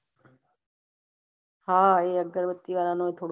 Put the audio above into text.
હા આઇયા આગરબતી વાળા નો